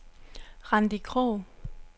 Randi Krog